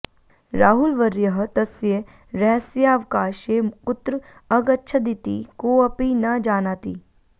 राहुलवर्यः तस्य रहस्यावकाशे कुत्र अगच्छदिति कोऽपि न जानाति